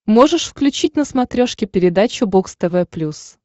можешь включить на смотрешке передачу бокс тв плюс